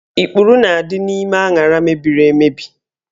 Ikpuru na-adị n'ime aṅara mebiri emebi